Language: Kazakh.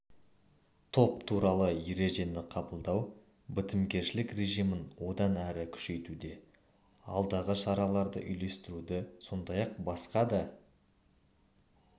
топ туралы ережені қабылдау бітімгершілік режимін одан ары күшейтуде алдағы шараларды үйлестіруді сондай-ақ басқа да